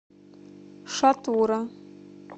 шатура